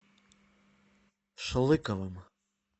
шлыковым